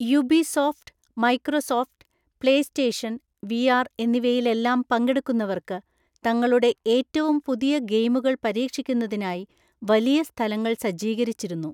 Ubisoft, Microsoft, PlayStation VR എന്നിവയിലെല്ലാം പങ്കെടുക്കുന്നവർക്ക് തങ്ങളുടെ ഏറ്റവും പുതിയ ഗെയിമുകൾ പരീക്ഷിക്കുന്നതിനായി വലിയ സ്ഥലങ്ങൾ സജ്ജീകരിച്ചിരുന്നു.